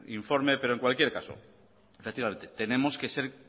informe pero en cualquier caso tenemos que ser